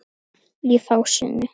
Í fásinni